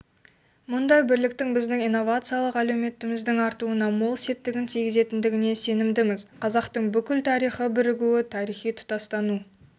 мұндай бірліктің біздің инновациялық әлеуетіміздің артуына мол септігін тигізетіндігіне сенімдіміз қазақтың бүкіл тарихы бірігу тарихы тұтастану